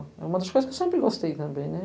É uma das coisas que eu sempre gostei também, né?